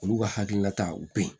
Olu ka hakilina ta u be yen